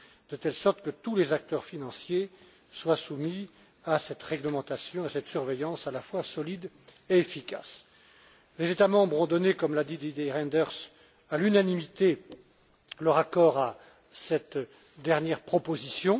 de telle sorte que tous les acteurs financiers soient soumis à cette réglementation et à cette surveillance à la fois solide et efficace. Les États membres ont donné, comme l'a dit Didier Reynders, à l'unanimité, leur accord à cette dernière proposition.